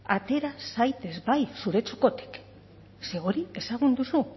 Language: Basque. atera zaitez bai zure txokotik ze hori ezagun duzu